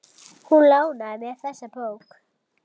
Hún lánaði mér þessa bók.